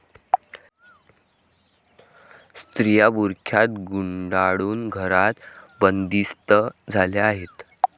स्त्रिया बुरख्यात गुंडाळून घरात बंदिस्त झाल्या आहेत.